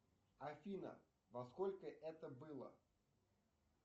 афина во сколько это было